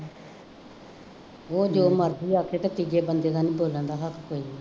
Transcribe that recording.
ਉਹ ਜੋ ਮਰਜ਼ੀ ਆਖੇ ਅਤੇ ਤੀਜੇ ਬੰਦੇ ਦਾ ਨਹੀਂ ਬੋਲਣ ਦਾ ਹੱਕ ਕੋਈ